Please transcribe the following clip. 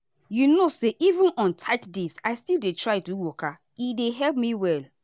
you know say even on tight days i still dey try do waka e dey help me well.